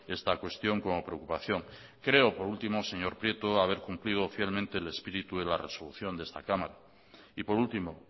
esta cuestión como preocupación creo por último señor prieto haber cumplido fielmente el espíritu de la resolución de esta cámara y por último